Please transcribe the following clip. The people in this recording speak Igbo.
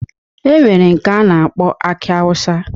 E nwere nke a na-akpọ aki awụsa.